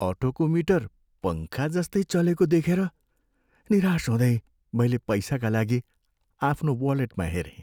अटोको meter पङ्खाजस्तै चलेको देखेर निराश हुँदै मैले पैसाका लागि आफ्नो वालेटमा हेरेँ।